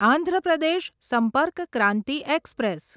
Andhra Pradesh Sampark Kranti express